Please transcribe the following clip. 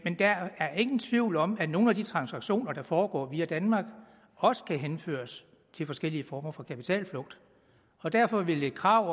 der er ingen tvivl om at nogle af de transaktioner der foregår via danmark også kan henføres til forskellige former for kapitalflugt og derfor vil et krav